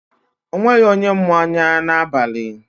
O nweghị onye mụ anya n'abalị.